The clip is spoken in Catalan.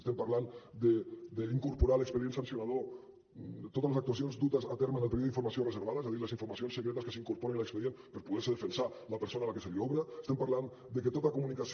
estem parlant d’incorporar a l’expedient sancionador totes les actuacions dutes a terme en el període d’informació reservada és a dir les informacions secretes que s’incorporen a l’expedient per poder se defensar la persona a la que se li obre estem parlant de que tota comunicació